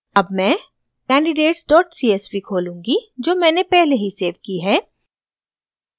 अब मैं candidatescsv खोलूँगी जो मैंने पहले ही सेव की है